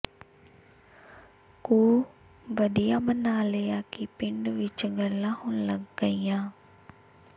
ਕੁ ਵਧੀਆ ਬਣਾ ਲਿਆ ਕਿ ਪਿੰਡ ਵਿੱਚ ਗਲਾਂ ਹੋਣ ਲੱਗ ਗਈਆਂ